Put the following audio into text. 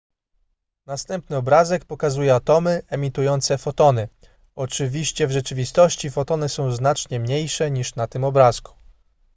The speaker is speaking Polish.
następny obrazek pokazuje atomy emitujące fotony oczywiście w rzeczywistości fotony są znacznie mniejsze niż na tym obrazku